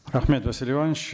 рахмет василий иванович